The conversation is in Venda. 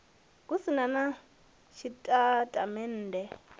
hu si na na tshitatamennde